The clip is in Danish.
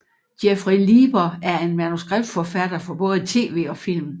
Jeffrey Lieber er en manuskriptforfatter for både tv og film